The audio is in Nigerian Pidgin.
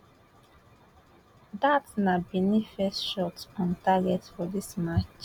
dat na benin first shot on target for dis match